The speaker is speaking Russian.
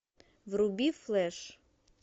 вруби флэш